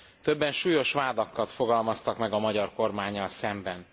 Többen súlyos vádakat fogalmaztak meg a magyar kormánnyal szemben.